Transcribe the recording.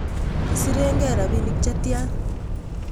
Kisiren gee rapinik chetyan